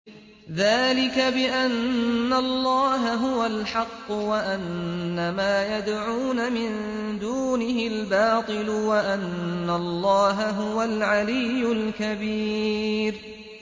ذَٰلِكَ بِأَنَّ اللَّهَ هُوَ الْحَقُّ وَأَنَّ مَا يَدْعُونَ مِن دُونِهِ الْبَاطِلُ وَأَنَّ اللَّهَ هُوَ الْعَلِيُّ الْكَبِيرُ